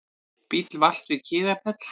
Bíll valt við Kiðafell